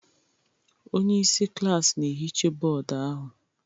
Onye isi klaasị na-ehicha bọọdụ ahụ.